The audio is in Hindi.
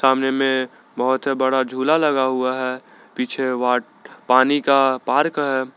सामने में बहुत से बड़ा झूला लगा हुआ है पीछे पानी का पार्क है।